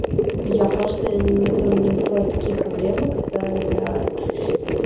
мм я просто иногда у меня бывают такие проблемы когда я